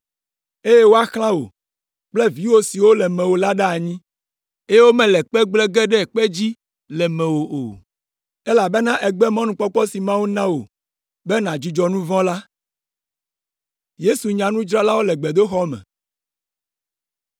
eye woaxlã wò kple viwò siwo le mewò la ɖe anyi, eye womele kpe gblẽ ge ɖe kpe dzi le mewò o, elabena ègbe mɔnukpɔkpɔ si Mawu na wò be nàdzudzɔ nu vɔ̃ la.”